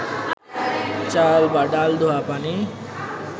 চাল বা ডাল ধোয়া পানি